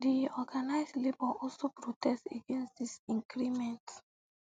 di organised labour also protest against dis increment